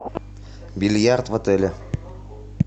бильярд в отеле